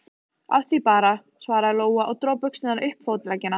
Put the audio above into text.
Af því bara, svaraði Lóa og dró buxurnar upp fótleggina.